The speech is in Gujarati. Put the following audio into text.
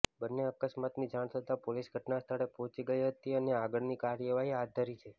બંને અકસ્માતની જાણ થતાં પોલીસ ઘટનાસ્થળે પહોંચી ગઇ હતી અને આગળની કાર્યવાહી હાથ ધરી છે